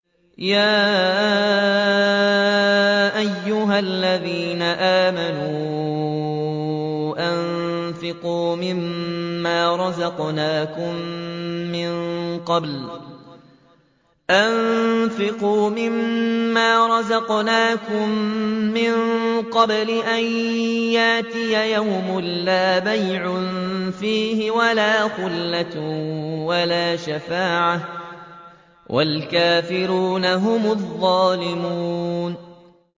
يَا أَيُّهَا الَّذِينَ آمَنُوا أَنفِقُوا مِمَّا رَزَقْنَاكُم مِّن قَبْلِ أَن يَأْتِيَ يَوْمٌ لَّا بَيْعٌ فِيهِ وَلَا خُلَّةٌ وَلَا شَفَاعَةٌ ۗ وَالْكَافِرُونَ هُمُ الظَّالِمُونَ